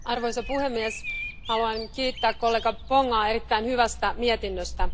Arvoisa puhemies, haluan kiittää kollega Pongaa erittäin hyvästä mietinnöstä.